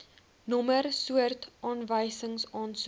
nommer soort aanwysingsaansoek